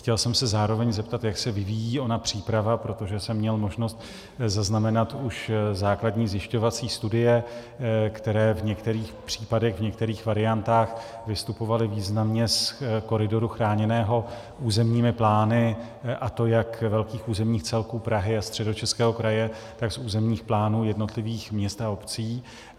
Chtěl jsem se zároveň zeptat, jak se vyvíjí ona příprava, protože jsem měl možnost zaznamenat už základní zjišťovací studie, které v některých případech, některých variantách vystupovaly významně z koridoru chráněného územními plány, a to jak velkých územních celků Prahy a Středočeského kraje, tak z územních plánů jednotlivých měst a obcí.